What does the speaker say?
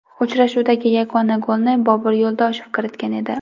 Uchrashuvdagi yagona golni Bobur Yo‘ldoshev kiritgan edi.